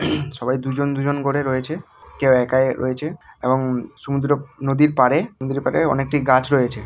সবাই দুজন দুজন করে রয়েছে. কেউ একাই রয়েছে এবং সমুদ্র নদীর পাড়ে নদীর পাড়ে অনেকটি গাছ রয়েছে--